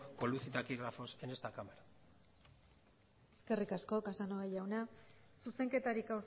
con luz y taquígrafos en esta cámara eskerrik asko casanova jauna zuzenketarik